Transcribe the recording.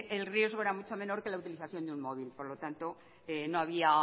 el riesgo era mucho menor que la utilización de un móvil por lo tanto no había